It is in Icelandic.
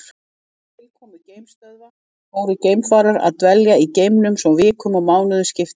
Með tilkomu geimstöðva fóru geimfarar að dvelja í geimnum svo vikum og mánuðum skipti.